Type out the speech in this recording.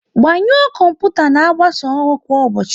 Gbanyuo kọmputa n'agbasa ọrụ kwa ụbọchị